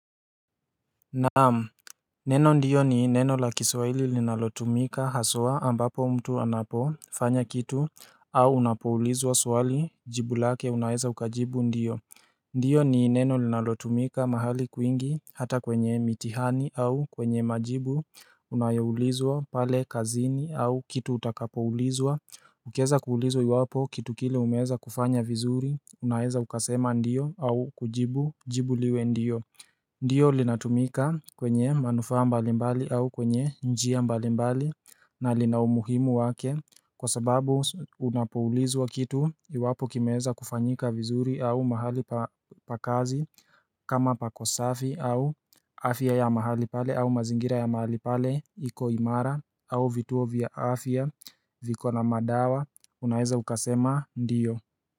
Naam, neno ndiyo ni neno la kiswaili linalotumika haswa ambapo mtu anapofanya kitu au unapoulizwa swali jibu lake unaeza ukajibu ndiyo ndiyo ni neno linalotumika mahali kwingi hata kwenye mitihani au kwenye majibu unayoulizwa pale kazini au kitu utakapoulizwa ukieza kuulizwa iwapo kitu kile umeeza kufanya vizuri unaeza ukasema ndiyo au kujibu jibu liwe ndiyo Ndiyo linatumika kwenye manufaa mbalimbali au kwenye njia mbalimbali na linaumuhimu wake kwa sababu unapuulizwa kitu iwapo kimeeza kufanyika vizuri au mahali pa kazi kama pako safi au afya ya mahali pale au mazingira ya mahali pale iko imara au vituo vya afya viko na madawa unaeza ukasema ndiyo.